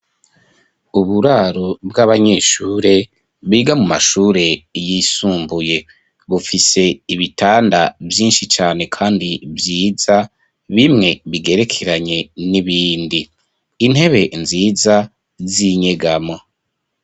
Uburaro, bw'abanyeshure, biga mu mashure yisumbuye; bufise ibitanda vyinshi cane, kandi vyiza, bimwe bigerekeranye n'ibindi; intebe nziza z'inyegamo.